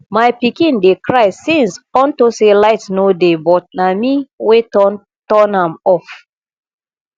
my pikin dey cry since unto say light no dey but na me wey turn turn am off